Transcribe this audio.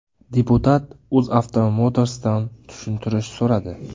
Deputat UzAuto Motors’dan tushuntirish so‘radi.